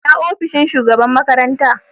Ina ofishin shugaban makaranta?